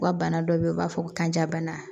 U ka bana dɔ bɛ yen u b'a fɔ ko kanjabana